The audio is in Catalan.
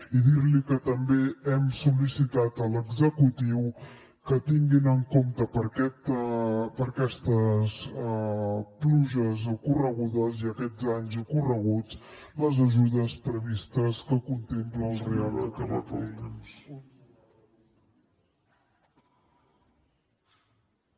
i dir li que també hem sol·licitat a l’executiu que tinguin en compte per a aquestes pluges ocorregudes i aquests danys ocorreguts les ajudes previstes que contempla el reial decret llei